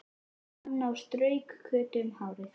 sagði Anna og strauk Kötu um hárið.